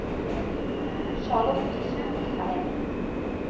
Charlotte Skogheim